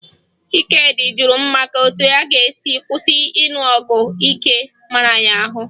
Ikedị jụrụ m maka etu ọ ga-esi kwụsị ịṅụ ọgwụ ike mara ya ahụ